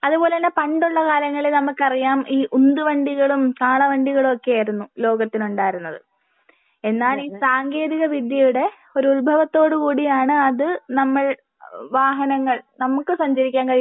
അത് പോലെ തന്നെ പണ്ടുള്ള കാലങ്ങളിൽ നമുക്ക് അറിയാം. ഈ ഉന്തു വണ്ടികളും കാള വണ്ടികളും ഒക്കെ ആയിരുന്നു ലോകത്തിലുണ്ടായിരുന്നത്. എന്നാൽ ഈ സാങ്കേന്തിക വിദ്യയുടെ ഒരു ഉത്ഭവത്തോട് കൂടിയാണ് അത് നമ്മൾ വാഹനങ്ങൾ നമുക്ക് സഞ്ചരിക്കാൻ കഴിയുന്ന